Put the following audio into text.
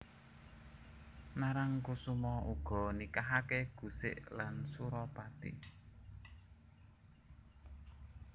Narangkusuma uga nikahake Gusik lan Suropati